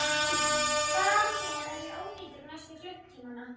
Þar með er ég ónýtur næstu klukkutímana.